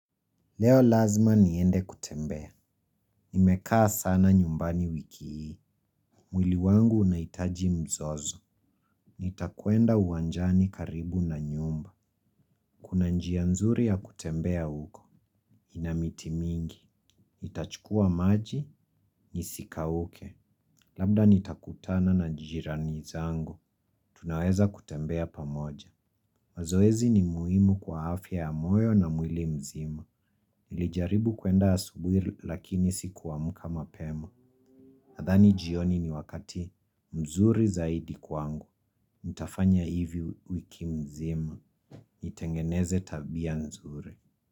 Leo lazima niende kutembea. Nimekaa sana nyumbani wiki hii. Mwili wangu unahitaji mzozo. Nitakuenda uwanjani karibu na nyumba. Kuna njia nzuri ya kutembea huko. Nina miti mingi. Nitachukua maji, nisikauke. Labda nitakutana na jirani zangu. Tunaweza kutembea pamoja. Mazoezi ni muhimu kwa afya ya moyo na mwili mzima. Nilijaribu kuenda asubuhi lakini sikuamka mapema. Nadhani jioni ni wakati mzuri zaidi kwangu, nitafanya hivi wiki mzima, nitengeneze tabia mzuri.